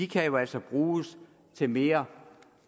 kan jo altså bruges til mere